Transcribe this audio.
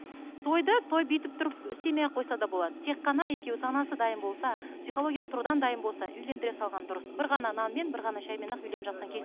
тойды той бүйтіп тұрып істемей ақ қойса да болады тек қана екеуі санасы дайын болса психологиялық тұрғыдан дайын болса үйлендіре салған дұрыс бір ғана нанмен бір ғана шаймен ақ үйленіп жатқан